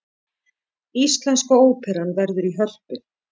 Íslenska óperan verður í Hörpu